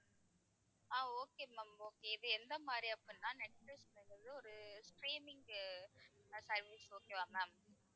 ஆஹ் okay ma'am okay இது எந்த மாதிரி அப்படின்னா நெட்பிலிஸ்ங்கறது ஒரு streaming uh ah service okay வா ma'am